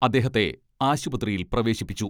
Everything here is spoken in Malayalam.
അദ്ദേഹത്തെ ആശുപത്രിയിൽ പ്രവേശിപ്പിച്ചു.